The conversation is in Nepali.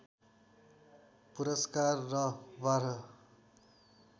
पुरस्कार र बाह्र